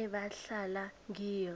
ebahlala kiyo